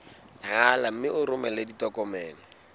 rala mme o romele ditokomene